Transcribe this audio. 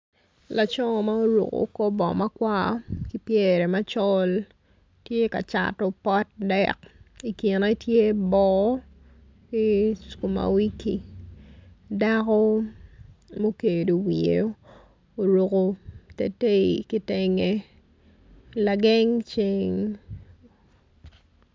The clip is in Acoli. Laco ma oruko kor bongo ma col ki pyere makwar tye ka cato pot dek i kine tye boo ki skuma wiki dako tye obedo i te lageng ceng.